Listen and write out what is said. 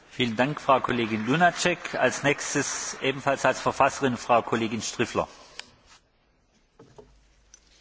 Monsieur le Président, Monsieur le Commissaire, chers collègues, à la question pourquoi le Parlement européen doit il s'occuper de cette question?,